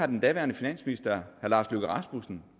den daværende finansminister herre lars løkke rasmussen